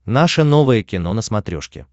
наше новое кино на смотрешке